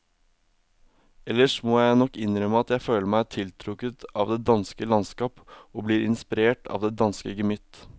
Ellers må jeg nok innrømme at jeg føler meg tiltrukket av det danske landskap og blir inspirert av det danske gemytt.